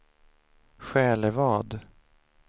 Själevad